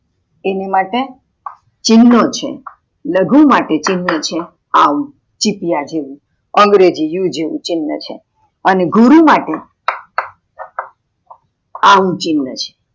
એની માટે ચિન્હો છે, લઘુ માટે ચિન્હ હે આવું ચીપ્ય જેવું અંગ્રેજી યુ જેવું ચિન્હ છે, અને ગુરુ માટે અમ ચિન્હ છે